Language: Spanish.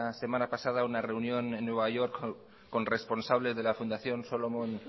semana pasada una reunión en nueva york con responsables de la fundación solomon